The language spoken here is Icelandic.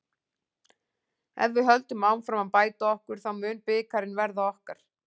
Ef við höldum áfram að bæta okkur þá mun bikarinn verða okkar.